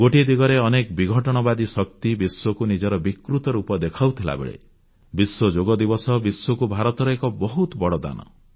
ଗୋଟିଏ ଦିଗରେ ଅନେକ ବିଘଟନବାଦୀ ଶକ୍ତି ବିଶ୍ୱକୁ ନିଜର ବିକୃତ ରୂପ ଦେଖାଉଥିବା ବେଳେ ବିଶ୍ୱ ଯୋଗଦିବସ ବିଶ୍ୱକୁ ଭାରତର ଏକ ବହୁତ ବଡ଼ ଦାନ